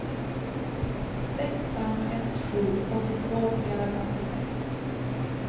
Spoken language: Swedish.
sex fem ett sju åttiotvå trehundrafemtiosex